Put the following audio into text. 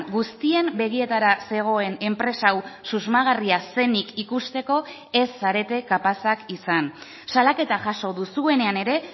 guztien begietara zegoen enpresa hau susmagarria zenik ikusteko ez zarete kapazak izan salaketa jaso duzuenean ere